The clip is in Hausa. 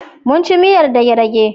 Mun ci miyar dage-dage.